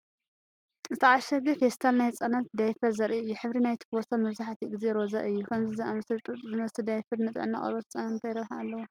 ዝተዓሸገ ፌስታል ናይ ህጻናት ዳያፐር ዘርኢ እዩ። ሕብሪ ናይቲ ቦርሳ መብዛሕትኡ ግዜ ሮዛ እዩ፣ ከምዚ ዝኣመሰለ ጡጥ ዝመስል ዳያፐር ንጥዕና ቆርበት ህጻናት እንታይ ረብሓ ኣለዎ?